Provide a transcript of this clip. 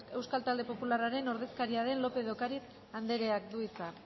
euskal talde popularraren ordezkaria den lópez de ocariz andereak du hitza